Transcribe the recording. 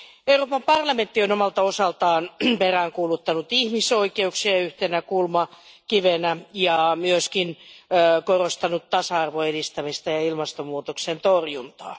Euroopan parlamentti on omalta osaltaan peräänkuuluttanut ihmisoikeuksia yhtenä kulmakivenä ja myös korostanut tasa arvon edistämistä ja ilmastonmuutoksen torjuntaa.